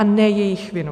A ne jejich vinou.